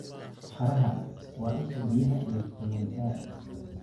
Qaraha: Waa isha biyaha iyo fitamiin A.